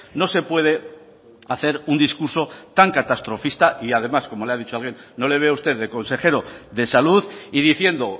no se puede hacer un discurso tan catastrofista y además como le ha dicho alguien no le veo a usted de consejero de salud y diciendo